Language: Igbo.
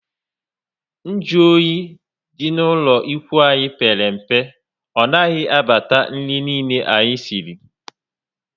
Nju oyi dị ná ụlọ ikwụ anyị pere mpe. Ọ naghị abata nri niile anyị siri